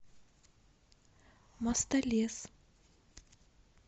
мостолес